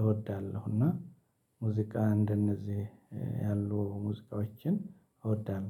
እወዳለሁ እና ሙዚቃ እንደነዚህ ያሉ ሙዚቃዎችን እወዳለሁ።